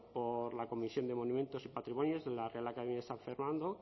por la comisión de monumentos y patrimonios de la real academia de san fernando